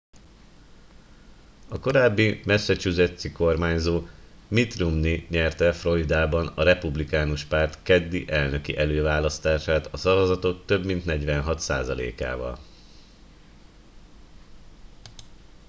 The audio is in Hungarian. a korábbi massachusettsi kormányzó mitt romney nyerte floridában a republikánus párt keddi elnöki előválasztását a szavazatok több mint 46 százalékával